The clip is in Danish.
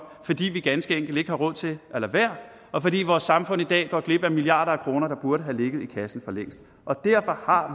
fordi vi ganske enkelt ikke har råd til at lade være og fordi vores samfund i dag går glip af milliarder af kroner der burde have ligget i kassen for længst derfor har